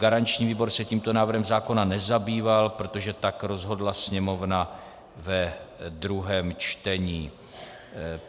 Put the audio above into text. Garanční výbor se tímto návrhem zákona nezabýval, protože tak rozhodla Sněmovna ve druhém čtení.